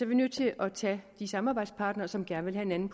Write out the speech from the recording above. vi nødt til at tage de samarbejdspartnere som gerne vil have en